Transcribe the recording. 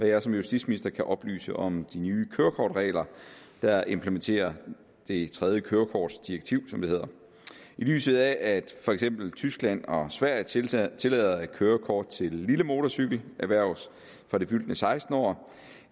jeg som justitsminister kan oplyse om de nye kørekortregler der implementerer det tredje kørekortdirektiv som det hedder i lyset af at for eksempel tyskland og sverige tillader tillader at kørekort til lille motorcykel erhverves fra det fyldte sekstende år